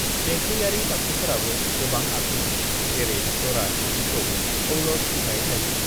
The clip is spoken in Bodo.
"देंखोयारि दामजुफोराबो गोबां आखुनि, जेरै जरा सिफुंखौ औलस बुंनाय जायो।"